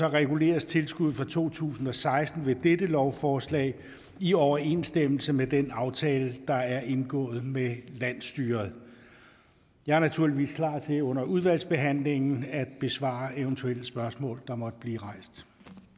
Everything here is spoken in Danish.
reguleres tilskuddet for to tusind og seksten ved dette lovforslag i overensstemmelse med den aftale der er indgået med landsstyret jeg er naturligvis klar til under udvalgsbehandlingen at besvare eventuelle spørgsmål der måtte blive rejst